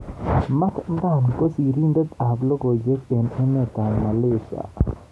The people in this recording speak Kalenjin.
Mat Dan ko sirindet ab logoiwek eng emet ab Malaysia.